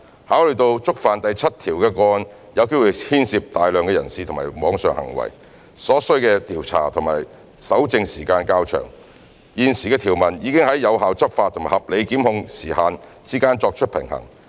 考慮到觸犯第7條的個案有機會牽涉大量人士或網上行為，所需的調查及搜證時間較長，現時的條文已在有效執法及合理檢控時限之間作出平衡。